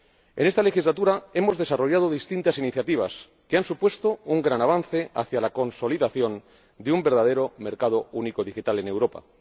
En esta legislatura hemos desarrollado distintas iniciativas que han supuesto un gran avance hacia la consolidación de un verdadero mercado único digital en Europa.